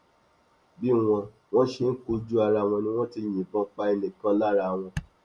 bí wọn wọn ṣe kojú ara wọn ni wọn ti yìnbọn pa ẹnì kan lára wọn